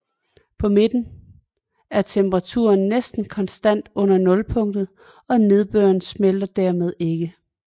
På midten er temperaturen næsten konstant under nulpunktet og nedbøren smelter dermed ikke